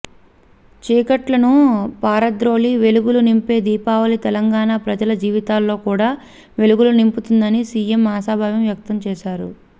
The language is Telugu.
చీకట్లను పారదోలి వెలుగులు నింపే దీపావళి తెలంగాణ ప్రజల జీవితాల్లో కూడా వెలుగులు నింపుతుందని సిఎం ఆశాభావం వ్యక్తం చేశారు